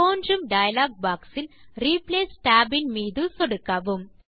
தோன்றும் டயலாக் boxஇல் replace tab இன் மீது சொடுக்கவும்